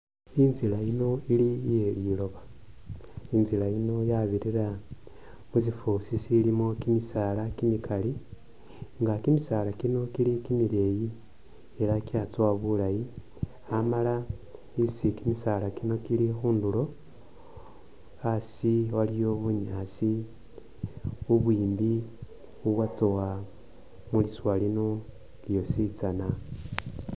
Inzila yino iye liloba. Inzila yino yabirira khusifusi silimo kimisala kimikali nga kimisala kino kili kimileyi ela kiyatsowa bulayi amala isi kimisala kino kili khunduro asi waliwo bunyaasi ubwimbi ubwatsowa muliswa lino lyosi tsana .